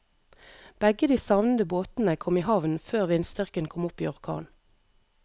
Begge de savnede båtene kom i havn før vindstyrken kom opp i orkan.